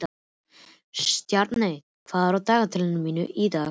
Stjarney, hvað er á dagatalinu í dag?